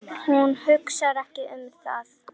Hún hugsar ekki um það.